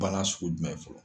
Banna sugu jumɛn fɔlɔ ?